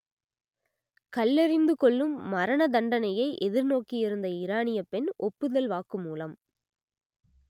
கல்லெறிந்து கொல்லும் மரண தண்டனையை எதிர்நோக்கியிருந்த ஈரானியப் பெண் ஒப்புதல் வாக்குமூலம்